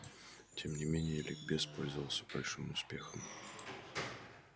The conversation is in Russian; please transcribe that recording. тем не менее ликбез пользовался большим успехом